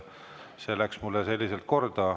See läks mulle selliselt korda.